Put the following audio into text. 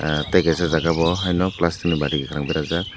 tei kaisa jagao haino plastic ni bati kwkhwrang berajak.